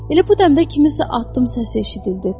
Elə bu dəmdə kimisə atdım səs eşidildi.